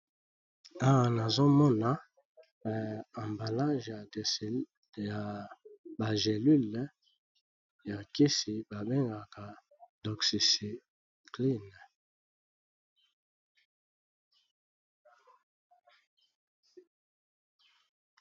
Awa nazomona ezali bongo ba kisi yaki mondele, oyo mutu amelaka soki abeli